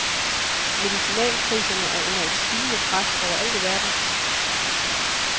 Medicinalpriserne er under et stigende pres over alt i verden.